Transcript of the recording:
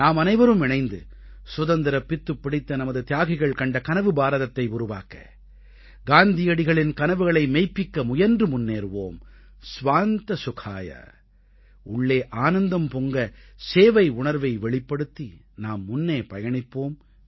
நாமனைவரும் இணைந்து சுதந்திரப் பித்துப்பிடித்த நமது தியாகிகள் கண்ட கனவு பாரதத்தை உருவாக்க காந்தியடிகளின் கனவுகளை மெய்ப்பிக்க முயன்று முன்னேறுவோம் ஸ்வாந்த சுகாய உள்ளே ஆனந்தம் பொங்க சேவை உணர்வை வெளிப்படுத்தி நாம் முன்னே பயணிப்போம்